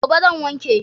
Gobe zan wanke.